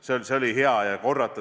See oli hea.